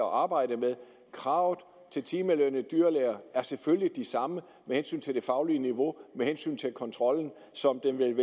og arbejde med kravene til timelønnede dyrlæger er selvfølgelig de samme med hensyn til det faglige niveau og med hensyn til kontrollen så